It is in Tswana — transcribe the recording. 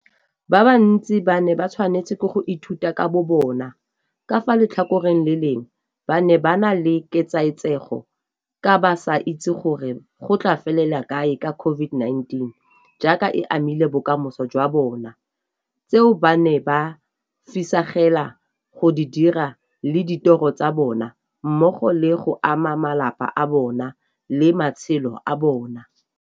Ba bantsi ba ne ba tshwanelwa ke go ithuta ka bobona, ka fa letlhakoreng le lengwe ba ne ba na le ketsaetsego ka ba sa itse gore go tla felela kae ka COVID-19 jaaka e amile bokamoso jwa bona, tseo ba neng ba fisegela go di dira le ditoro tsa bona mmogo le go ama malapa a bona le matshelo a bona,